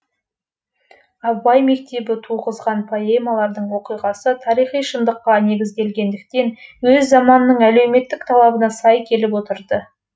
абай мектебі туғызған поэмалардың оқиғасы тарихи шындыққа негізделгендіктен өз заманының әлеуметтік талабына сай келіп отырды